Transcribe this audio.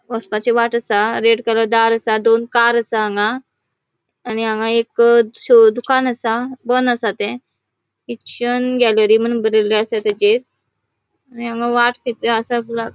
वसपाची वाट असा रेड कलर दार असा दोन कार असा हांगा आणि हांगा एक शो दुकान असा बन असा थे ख्रिश्चन गॅलरी मून बरेले असा ताचेर आणि हांगा वाट खयतरी आसा --